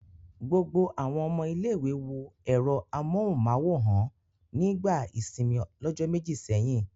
Gbogbo àwọn ọmọ ilé-ìwé wọ ẹ̀rọ amóhùmáwòhán nígbà ìsìnmi lọ̀jọ́ méjì sẹ́yìn.